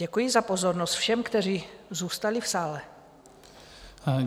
Děkuji za pozornost všem, kteří zůstali v sále.